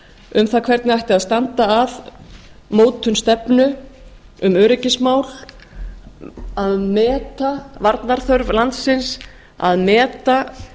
um það hvernig ætt að standa að mótun stefnu um öryggismál að meta varnarþörf landsins að meta